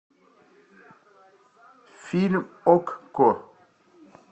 фильм окко